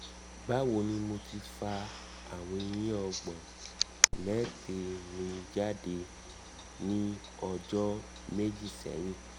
bawo ni mo ti fa awon eyin ogbon mette mi jade ni ojo meji sehin